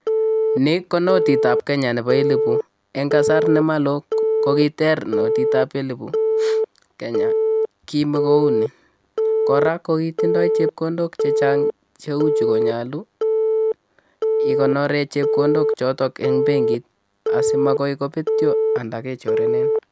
Nii ko notit ab kenya nebo elibut en kasar ne moloo ko kiter notii ab elibut kenya kimo kouni koraa ko kitindo chepkondok che chang cheuchu konyolu ikonoren chepkondok choton en benkit simopetio anan kechorenin.